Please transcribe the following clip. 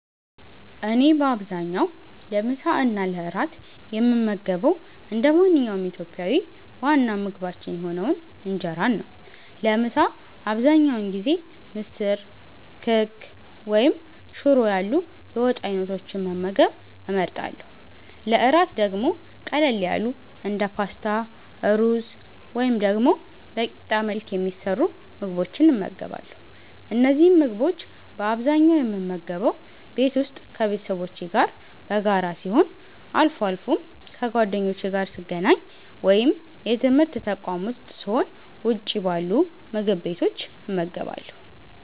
እኔ በአብዛኛው ለምሳ እና ለእራት የምመገበው እንደ ማንኛውም ኢትዮጵያዊ ዋና ምግባችን የሆነውን እንጀራን ነው። ለምሳ አብዛኛውን ጊዜ ምስር፣ ክክ ወይም ሽሮ ያሉ የወጥ አይነቶችን መመገብ እመርጣለሁ። ለእራት ደግሞ ቀለል ያሉ እንደ ፓስታ፣ ሩዝ ወይም ደግሞ በቂጣ መልክ የሚሰሩ ምግቦችን እመገባለሁ። እነዚህን ምግቦች በአብዛኛው የምመገበው ቤት ውስጥ ከቤተሰቦቼ ጋር በጋራ ሲሆን፣ አልፎ አልፎም ከጓደኞቼ ጋር ስገናኝ ወይም የትምርት ተቋም ዉስጥ ስሆን ውጭ ባሉ ምግብ ቤቶች እመገባለሁ።